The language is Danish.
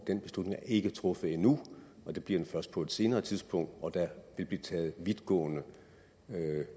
den beslutning er ikke truffet endnu og det bliver den først på et senere tidspunkt og der vil blive taget vidtgående